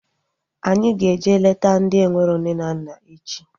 Anyị ga-eje leta ndị enwero nne na nna echi